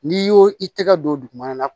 N'i y'o i tɛgɛ don dugumana la